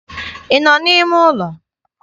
Ị nọ n'ime ụlọ?